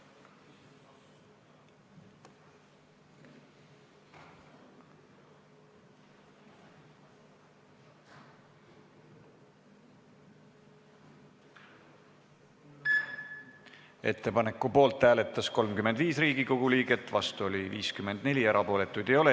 Hääletustulemused Ettepaneku poolt hääletas 35 Riigikogu liiget, vastu oli 54, erapooletuid ei ole.